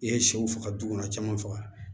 I ye sɛw faga du kɔnɔ caman faga